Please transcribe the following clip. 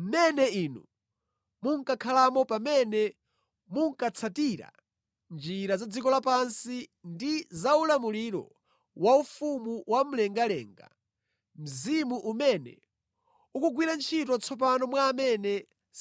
mmene inu munkakhalamo pamene munkatsatira njira za dziko lapansi ndi za ulamuliro waufumu wa mlengalenga, mzimu umene ukugwira ntchito tsopano mwa amene